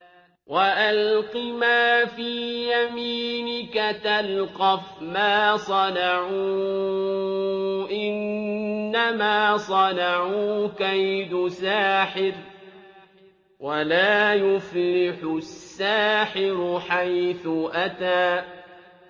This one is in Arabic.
وَأَلْقِ مَا فِي يَمِينِكَ تَلْقَفْ مَا صَنَعُوا ۖ إِنَّمَا صَنَعُوا كَيْدُ سَاحِرٍ ۖ وَلَا يُفْلِحُ السَّاحِرُ حَيْثُ أَتَىٰ